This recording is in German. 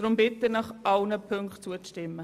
Deshalb bitte ich Sie, allen Ziffern zuzustimmen.